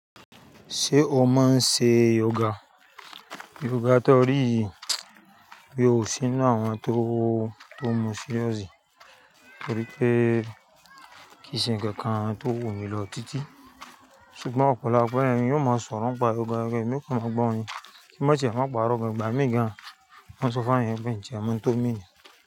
Ṣé o máa ń ṣe yoga? Yoruba tó rí yìí boya o ṣi inu àwọn tó mọ̀ sí yọ́ọ̀sì torí pé kì í ṣe nnkan kan tó wù mí lọ títí. Ṣùgbọ́n ọpọlọpọ èeeyàn yoo máa sọ̀rọ̀ n pa gangan rẹ, èmi kò mọ gbọ́ wọn ni. Kí máa ṣe ẹ má parọ́ gan, ìgbà mí gan an mọ́ n sọ fún eńi yen pe nti ẹ mo n to mean ni.